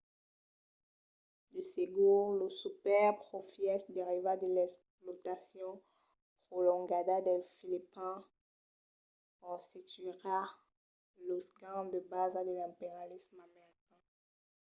de segur los superprofièches derivats de l'explotacion prolongada dels filipins constituiriá los ganhs de basa de l'imperialisme american